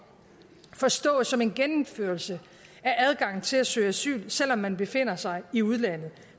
forstås som en gennemførelse af adgangen til at søge asyl selv om man befinder sig i udlandet